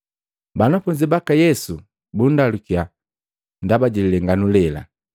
Banafunzi baka Yesu bundalukiya ndaba jililenganu lela,